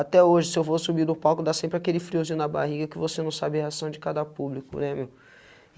Até hoje, se eu vou subir do palco, dá sempre aquele friozinho na barriga que você não sabe a reação de cada público, né, meu?